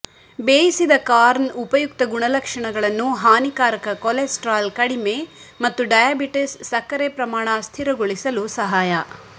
ಬೇಯಿಸಿದ ಕಾರ್ನ್ ಉಪಯುಕ್ತ ಗುಣಲಕ್ಷಣಗಳನ್ನು ಹಾನಿಕಾರಕ ಕೊಲೆಸ್ಟರಾಲ್ ಕಡಿಮೆ ಮತ್ತು ಡಯಾಬಿಟಿಸ್ ಸಕ್ಕರೆ ಪ್ರಮಾಣ ಸ್ಥಿರಗೊಳಿಸಲು ಸಹಾಯ